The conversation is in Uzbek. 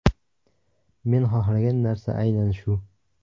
Men xohlagan narsa aynan shu.